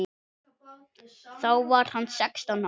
Þá var hann sextán ára.